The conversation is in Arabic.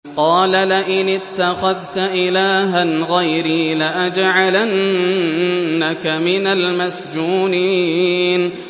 قَالَ لَئِنِ اتَّخَذْتَ إِلَٰهًا غَيْرِي لَأَجْعَلَنَّكَ مِنَ الْمَسْجُونِينَ